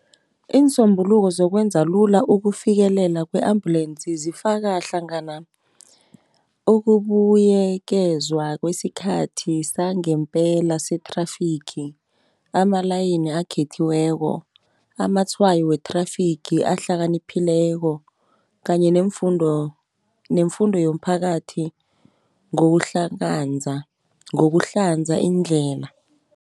Iinsombuluko zokwenza lula ukufikelela kwe-ambulensi, zifaka hlangana ukubuyekezwa kwesikhathi sangempela se-traffic, amalayini akhethiweko, amatshwayo we-traffic ahlakaniphileko kanye nemfundo yomphakathi ngokuhlanza indlela.